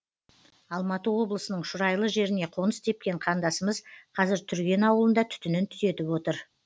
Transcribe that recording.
алматы облысының шұрайлы жеріне қоныс тепкен қандасымыз қазір түрген ауылында түтінін түтетіп отыр